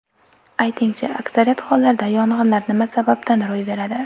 Aytingchi, aksariyat hollarda yong‘inlar nima sababdan ro‘y beradi?